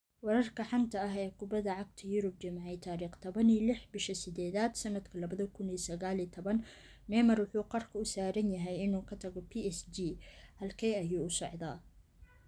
Wararka xanta ah ee kubada cagta Yurub Jimce tariq taban iyo lix bisha sidedad sanadka labada kun iyo sagal iyo taban Neymar wuxuu qarka u saaran yahay inuu ka tago PSG' - Halkee ayuu u socdaa?